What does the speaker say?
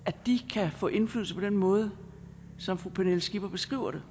kan få indflydelse på den måde som fru pernille skipper beskriver det